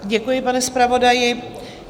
Děkuji, pane zpravodaji.